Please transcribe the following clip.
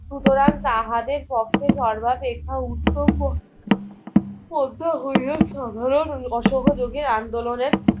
সুতরাং তাহাদের পক্ষে সর্বারেখা উত্তম মধ্য হইয়া সাধারণ অসহযোগের আন্দোলনের